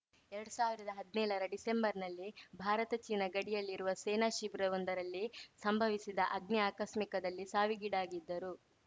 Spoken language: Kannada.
ಎರಡ್ ಸಾವಿರ್ದಾ ಹದ್ನೇಳರ ಡಿಸೆಂಬರ್‌ನಲ್ಲಿ ಭಾರತ ಚೀನಾ ಗಡಿಯಲ್ಲಿರುವ ಸೇನಾ ಶಿಬಿರವೊಂದರಲ್ಲಿ ಸಂಭವಿಸಿದ ಅಗ್ನಿ ಆಕಸ್ಮಿಕದಲ್ಲಿ ಸಾವಿಗೀಡಾಗಿದ್ದರು